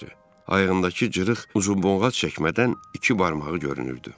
Ayağındakı cırıq uzunboğat çəkmədən iki barmağı görünürdü.